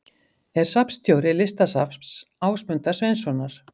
Er safnstjóri Listasafns Ásmundar Sveinssonar.